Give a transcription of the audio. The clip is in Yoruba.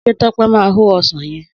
Sé Tope máa o ọsàn yen?